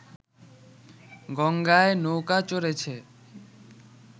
গঙ্গায় নৌকো চড়েছে